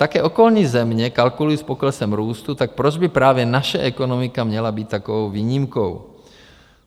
Také okolní země kalkulují s poklesem růstu, tak proč by právě naše ekonomika měla být takovou výjimkou?